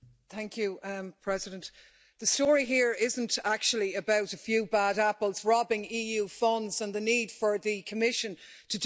Madam President, the story here isn't actually about a few bad apples robbing EU funds and the need for the Commission to do more.